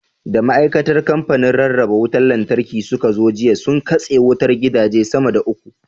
Da ma'aikatan kamfanin rarraba wutar Lantarki suka zo jiya, sun katse wutar gidaje sama da uku.